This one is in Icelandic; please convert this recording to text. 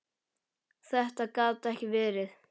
Þetta gat ekki verið!